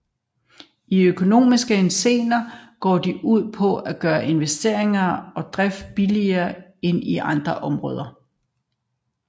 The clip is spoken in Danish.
I økonomisk henseende går de ud på at gøre investeringer og drift billigere end i andre områder